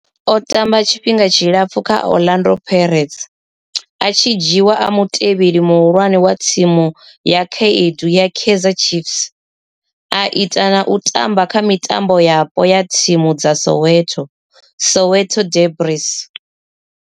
O tamba tshifhinga tshilapfhu kha Orlando Pirates, a tshi dzhiiwa a mutevheli muhulwane wa thimu ya vhakhaedu ya Kaizer Chiefs, a ita na u tamba kha mitambo yapo ya thimu dza Soweto, Soweto derbies.